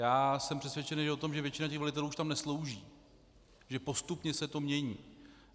Já jsem přesvědčen o tom, že většina těch velitelů už tam neslouží, že postupně se to mění.